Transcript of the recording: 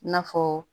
I n'a fɔ